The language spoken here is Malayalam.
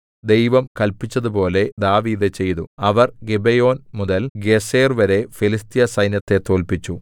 ദൈവം കല്പിച്ചതുപോലെ ദാവീദ് ചെയ്തു അവർ ഗിബെയോൻ മുതൽ ഗേസെർവരെ ഫെലിസ്ത്യ സൈന്യത്തെ തോല്പിച്ചു